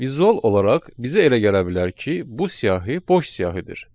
Vizual olaraq bizə elə gələ bilər ki, bu siyahı boş siyahıdır.